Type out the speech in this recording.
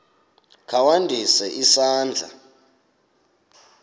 kha ndise isandla